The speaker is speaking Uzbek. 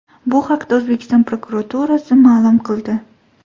Bu haqda O‘zbekiston prokuraturasi ma’lum qildi .